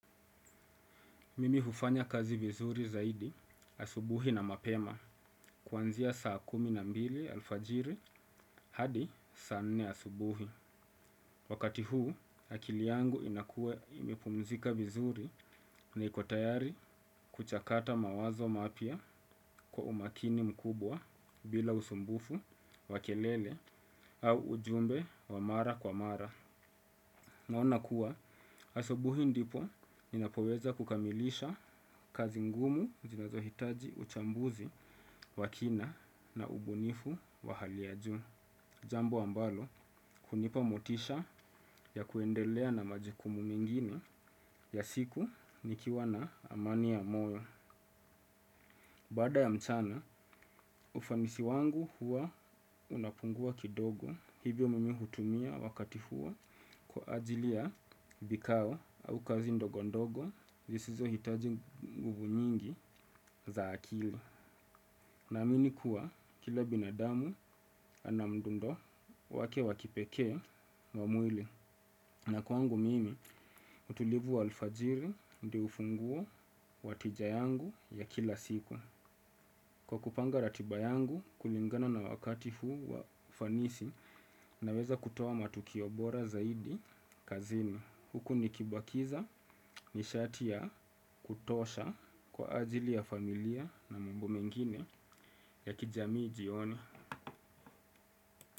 Mimi hufanya kazi vizuri zaidi, asubuhi na mapema, kuanzia saa kumi na mbili alfajiri hadi saanne asubuhi. Wakati huu, akili yangu inakua imepumzika vizuri na ikotayari kuchakata mawazo mapya kwa umakini mkubwa bila usumbufu, wakelele au ujumbe wa mara kwa mara. Naona kuwa, asubuhi ndipo ninapoweza kukamilisha kazi ngumu zinazohitaji uchambuzi wa kina na ubunifu wa hali ya juu. Jambo ambalo, hunipa motisha ya kuendelea na majukumu mengine ya siku nikiwa na amani ya moyo. Baada ya mchana, ufanisi wangu huwa unapungua kidogo hivyo mimi hutumia wakati huo kwa ajili ya vikao au kazi ndogo ndogo zisizo hitaji nguvu nyingi za akili. Na aminikuwa, kila binadamu anamdundo wake wakipekee wamwili. Na kwangu mimi, utulivu wa alfajiri ndio hufungua watijayangu ya kila siku. Kwa kupanga ratiba yangu kulingana na wakati huu wa ufanisi na weza kutoa matukiobora zaidi kazini. Huku nikibakiza nishatiya kutosha kwa ajili ya familia na mbomengine ya kijamii jioni.